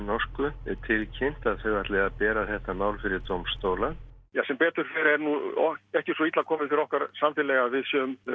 norsku tilkynnt að þau ætli að bera þetta mál fyrir dómstóla sem betur ekki svo illa komið fyrir okkar samfélagi að við